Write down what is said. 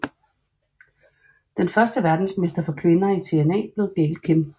Den første verdensmester for kvinder i TNA blev Gail Kim